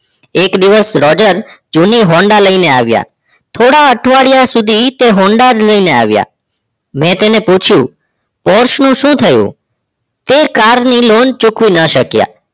એક દિવસ રોજર જૂની હોન્ડા લઈને આવીયા થોડા અઠવાડિયા સુધી તે હોન્ડા જ લઈ ને આવીય મે તેને પૂછ્યું શું શું થયું તે car ની loan ચૂકવી ના શકીયા